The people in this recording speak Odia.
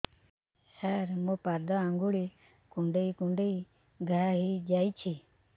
ସାର ମୋ ପାଦ ଆଙ୍ଗୁଳି କୁଣ୍ଡେଇ କୁଣ୍ଡେଇ ଘା ହେଇଯାଇଛି